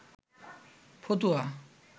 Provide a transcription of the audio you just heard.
ফতুয়া